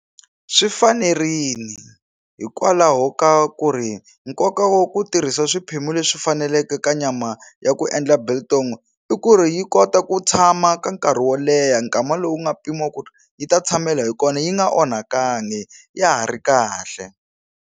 Swi fanerini hikwalaho ka ku ri nkoka wa ku tirhisa swiphemu leswi faneleke ka nyama ya ku endla biltong i ku ri yi kota ku tshama ka nkarhi wo leha nkama lowu nga pimiwa ku yi ta tshamela hi kona yi nga onhakangi ya ha ri kahle.